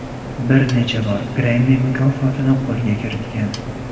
Bir necha bor Grammy mukofotini qo‘lga kiritgan.